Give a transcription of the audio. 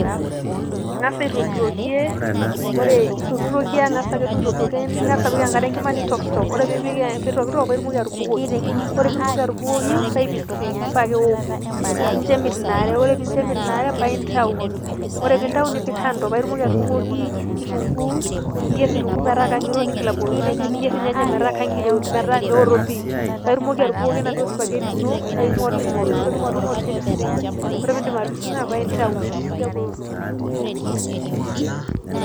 Ing'asa aitokitokie ore intokitokie ang'asa akeduo aitokitokie ning'as apik enkare enkima nitokitok, ore piitokitok pae itumoki atubukoki ore piitumoki atubukoki pae ipising' pae eoku, ninjo emit ina are, ore pee injo emit ina are pae intau, ore piintau nipik kando pae itumoki atudung'oki kitunguu, niyer kitunguu metaa kangiroo, niing'il abukoki irnyanyak niyer inyanyak metaa kang'iroo metaa meoto pii. Paake itumoki atubukoki enaduo supageti ino paake ing'oling'ol, ore piing'oling'ol nipising', ore piindip atipising'a pae intau eeku eoto.